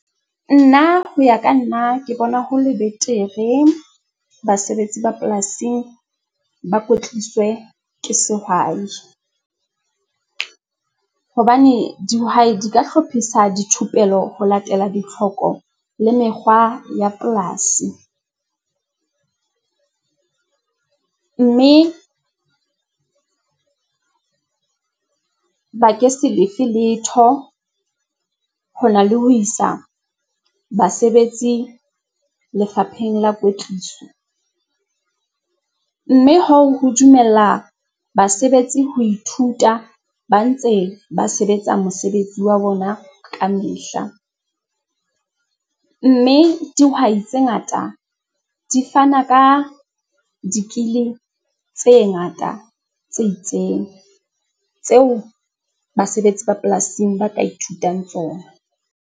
Nna ho ya ka nna ke bona ho le betere. Basebetsi ba polasing ba kwetliswe ke sehwai hobane dihwai di ka hlophisa dithupello ho latela ditlhoko le mekgwa ya polasi, mme ba ke se lefe letho ho na le ho isa basebetsi lefapheng la kwetliso. Mme hoo ho dumella basebetsi ho ithuta ba ntse ba sebetsa mosebetsi wa bona ka mehla, mme dihwai tse ngata di fana ka di-skill tse ngata tse itseng tseo basebetsi ba polasing ba ka ithutang tsona.